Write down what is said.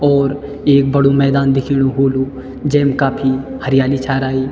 और एक बडू मैदान दिख्येणू होलू जेम काफी हरियाली छा राई।